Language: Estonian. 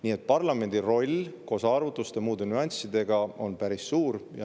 Nii et parlamendi roll koos arvutuste ja muude nüanssidega on päris suur.